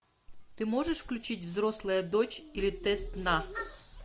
ты можешь включить взрослая дочь или тест на